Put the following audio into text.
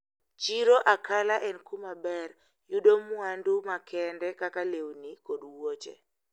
Chiro Akala en kumaber yudoe mwandu makende kaka lewni kod wuoche.